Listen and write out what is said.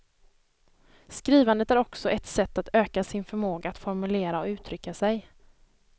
Skrivandet är också ett sätt att öka sin förmåga att formulera och uttrycka sig.